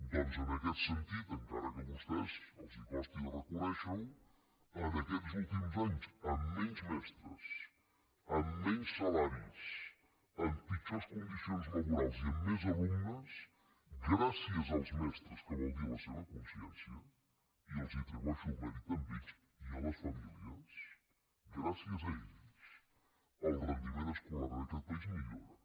doncs en aquest sentit encara que a vostès els costi de reconèixerho en aquests últims anys amb menys mestres amb menys salaris amb pitjors condicions laborals i amb més alumnes gràcies als mestres que vol dir a la seva consciència i els atribueixo el mèrit a ells i a les famílies gràcies a ells el rendiment escolar en aquest país millora